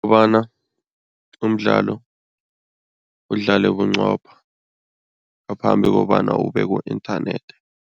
Kobana umdlalo udlale bunqopha ngaphambi kobana ube ku-inthanethi.